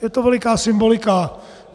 Je to veliká symbolika.